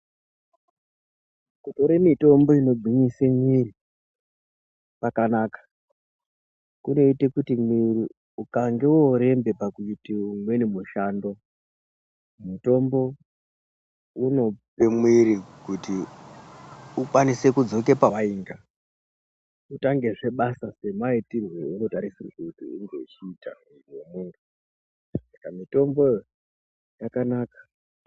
Kutore mitombo inogwinyisa mwiri kwakanaka. Kunoite kuti mwiri ukange wooremba pakuite umweni mushando, mutombo unope mwiri kuti ukwanise kudzoke pewainga. Utangezve basa semaitirwe eunotarisirwe kuti unge uchiita muiri wemuntu. Mitomboyo yakanaka.